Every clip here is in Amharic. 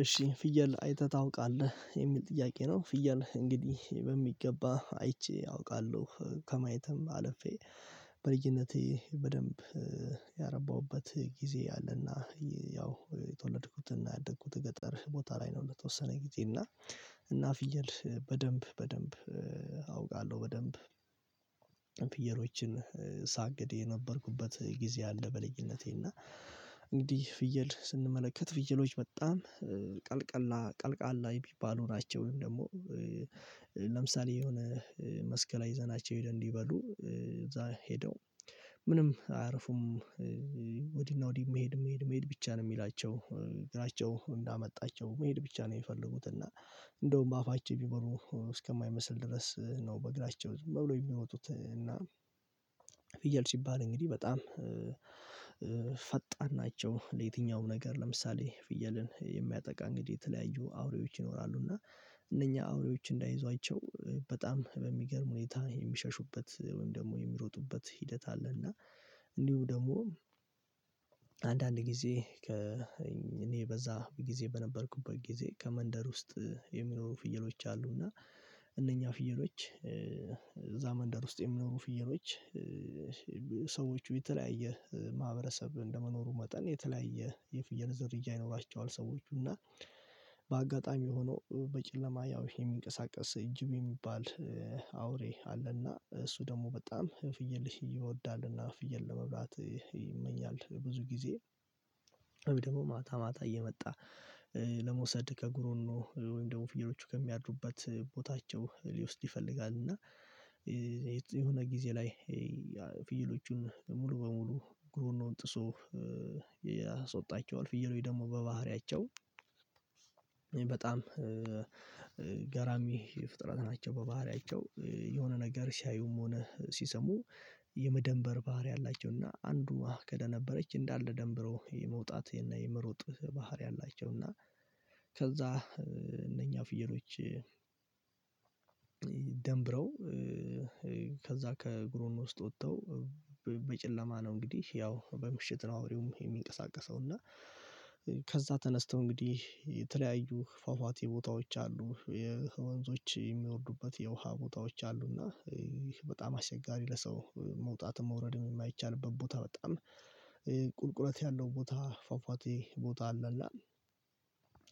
እሺ ፍየል አይተህ ታውቃለህ የሚል ጥያቄ ነው? ፍየል እንግዲህ በሚገባ አይቼ አውቃለሁ ከማየትም አለፌ። በልጅነቴ በደንብ ያረባሁበት ጊዜ አለና ያው የተወለድኩትና ያደኩት ገጠር ቦታ ላይ ነው። ለተወሰነ ጊዜ እና እና ፍየል በደንብ በደንብ አውቃለሁ በደንብ ፍየሎችን ሳግድ የነበርኩበት ጊዜ አለ። በልጅነቴ እና እንግዲህ ፍየል ስንመለከት ፍየሎች በጣም ቀልቀላ ቀልቃላ የሚባሉ ናቸው። ወይም ደግሞ ለምሳሌ የሆነ መስክላይ ይዘናቸው ሄደን እንዲ በሉ እዛ ሄደው ምንም አያርፉም። ወዲህ እና ወዲህ መሄድ መሄድ መሄድ ብቻ ነው የሚላቸው እግራቸው እንዳመጣቸው መሄድ ብቻ ነው የሚፈልጉት። እና እንደውም በአፋቸው ቢበሉ እስከማይመስል ድረስ ነው በእግራቸው ዝም ብለው የሚሮጡት። እና ፍየል ሲባል እንግዲህ በጣም ፈጣን ናቸው። ለየትኛውም ነገር ለምሳሌ ፍየልን የሚያጠቃ እንግዲህ የተለያዩ አውሬዎች ይኖራሉ እና እነኛ አውሬዎች እንዳይዟቸው በጣም በሚገርም ሁኔታ የሚሸሹበት ወይም ደግሞ የሚሮጡበት ሂደት አለ። እና እንዲሁ ደግሞ አንዳንድ ጊዜ ከ እኔ በዛ ጊዜ በነበርኩበት ጊዜ ከመንደር ውስጥ የሚኖሩ ፍየሎች አሉ እና እነኛ ፍየሎች እዛ መንደር ውስጥ የሚኖሩ ፍየሎች የተለያየ ማህበረሰብ እንደመኖሩ መጠን የተለያየ የፍየል ዝርያ ይኖራቸዋል። ሰዎቹ እና በአጋጣሚ ሆኖ በጨለማ ያው ይሄ የሚንቀሳቀስ ጅብ የሚባል አውሬ አለና እሱ ደግሞ በጣም ፍየል ይወዳልና ፍየል ለመብላት ይመኛል። ብዙ ጊዜ ወይም ደግሞ ማታ ማታ እየመጣ ለመውሰድ ከጉሮኖ ወይም ደግሞ ፍየሎቹ ከሚያድሩበት ቦታቸው ሊወስድ ይፈልጋል። እና የሆነ ጊዜ ላይ ፍየሎቹን ሙሉ በሙሉ ግሩኖን ጥሶ ያስዎጣቸዋል ፍየሎች ደግሞ በባህሪያቸው በጣም ገራሚ ፍጥረት ናቸው። በባህሪያቸው የሆነ ነገር ሲያዩም ሆነ ሲሰሙ የመደንበር ባህሪ አላቸውና አንዱ ከደ ነበረች እንዳለ ደንብሮ የመውጣት የመሮጥ ባህሪ አላቸው። እና ከዛ እነኛ ፍየሎች ደንብረው ከዛ ከግሮኖ ውስጥ ወጥተው በጨለማ ነው እንግዲህ ያው በምሽት ነው አውሬውም የሚንቀሳቀሰው እና ከዛ ተነስተው እንግዲህ የተለያዩ ፏፏቴ ቦታዎች አሉ የወንዞች የሚወርዱበት የውሃ ቦታዎች አሉ። እና ይህ በጣም አስቸጋሪ ለሰው መውጣትን መውረድን የማይቻልበት ቦታ በጣም ቁልቁለት ያለው ቦታ ፏፏቴ ቦታ አለ እና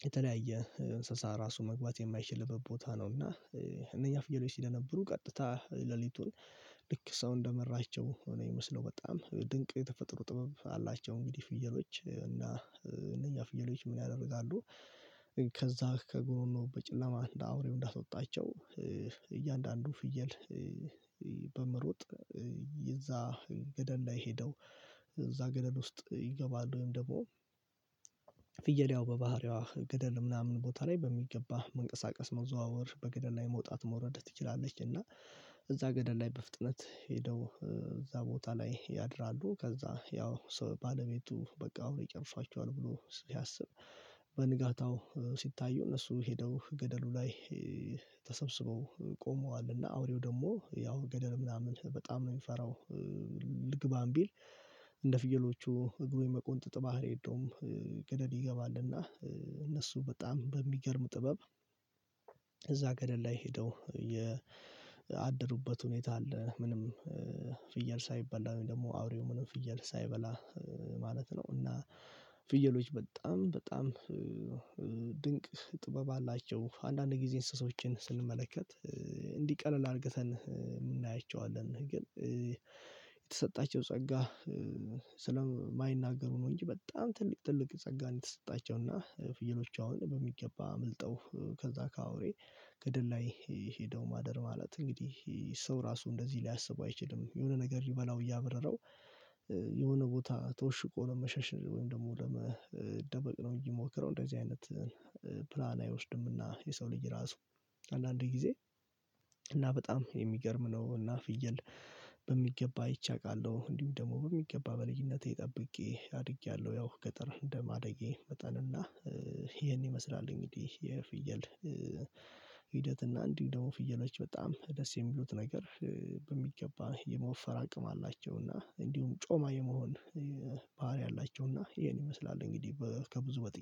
የተለያየ እንስሳ ራሱ መግባት የማይችልበት ቦታ ነው። እና እነኛ ፍየሎች ሲደነብሩ ቀጥታ ሌሊቱን ልክ ሰው እንደመራቸው ነው የሚመስለው በጣም ድንቅ የተፈጥሮ ጥበብ አላቸው። እንግዲህ ፍየሎች እና እነኛ ፍየሎች ምን ያደርጋሉ? ከዛ ከጎሮኖው በጨለማ አንድ አውሬው እንዳስወጣቸው እያንዳንዱ ፍየል በመሮጥ የእዛ ገደል ላይ ሄደው እዛ ገደል ውስጥ ይገባል ወይም ደግሞ ፍየል ያው በባህሪዋ ገደል ምናምን ቦታ ላይ በሚገባ መንቀሳቀስ መዘዋወር በገደል ላይ መውጣት መውረድ ትችላለች። እና እዛ ገደል ላይ በፍጥነት ሄደው እዛ ቦታ ላይ ያድራሉ። ከዛ ያው ባለቤቱ በቃ አውሬ ጨርሷቸዋል ብሎ ሲያስብ በንጋታው ሲታዩ እነሱ ሄደው ገደሉ ላይ ተሰብስበው ቆመዋል እና አውሬው ደግሞ ያው ገደል ምናምን በጣም ነው የሚፈራው። ልግባም ቢል እንደ ፍየሎቹ እግሩ የመቆንጠጥ ባህሪ የለውም ገደል ይገባልና እነሱ በጣም በሚገርም ጥበብ እዛ ገደል ላይ ሄደው ያደሩበት ሁኔታ አለ። ምንም ፍየል ሳይበላ ነው ደግሞ አውሬው ምንም ፍየል ሳይበላ ማለት ነው። እና ፍየሎች በጣም በጣም ድንቅ ጥበብ አላቸው አንዳንድ ጊዜ እንስሳዎችን ስንመለከት እንዲቀለል አርግተን እናያቸዋለን ግን የተሰጣቸው ጸጋ ስለማይናገሩ ነው እንጂ በጣም ትልቅ ትልቅ ጸጋ ነው። የተሰጣቸው እና ፍየሎቹ አሁን በሚገባ አምልጠው ከዛ ከአውሬ ገደል ላይ ሄደው ማደር ማለት እንግዲህ ሰው ራሱ እንደዚህ ሊያስቡ አይችልም። የሆነ ነገር ሊበላው እያበረረው የሆነ ቦታ ተወሽቆ ለ መሸሽ ወይም ደግሞ ለመደበቅ ነው እንጅየሚሞክረው እንደዚህ አይነት ፕላን አይወስድምና። የሰው ልጅ ራሱ አንዳንዴ ጊዜ እና በጣም የሚገርም ነው። እና ፍየል በሚገባ አይቼ አውቃለሁ እንዲሁ ደግሞ በሚገባ በልጅነቴ ጠብቄ አድጌያለሁ። ያው ገጠር እንደማደጌ መጠን እና ይሄን ይመስላል እንግዲህ የፍየል ሂደት እና እንዲህ ደግሞ ፍየሎች በጣም ደስ የሚሉት ነገር በሚገባ የመወፈር አቅም አላቸው። እና እንዲሁም ጮማ የመሆን ባህሪ አላቸው። እና ይኸን ይመስላል እንግዲህ በ ከብዙ በጥቂቱ